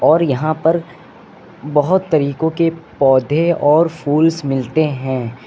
और यहां पर बहोत तरीको के पौधे और फूल्स मिलते हैं।